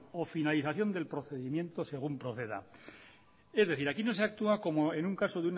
o finalización del procedimiento según proceda es decir aquí no actúa como en un caso